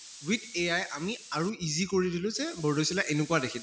with AI আমি আৰু easy কৰি দিলো যে বৰ্দৈচিলা এনেকুৱা দেখি